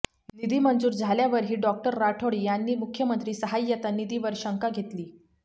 निधी मंजूर झाल्यावरही डॉक्टर राठोड यांनी मुख्यमंत्री सहाय्यता निधीवर शंका घेतली